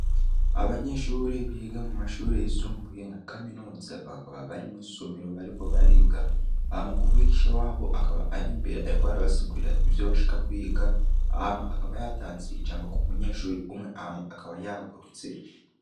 Abanyeshure biga mu mashure yisumbuye nka kaminuza, bakaba bari mw'isomero bariko bariga, hama umwigisha wabo akaba ari imbere ariko arabasigurira ivyo bashaka kwiga hama akaba yatanze ijambo k'umunyehure umwe hama akaba yahagurutse.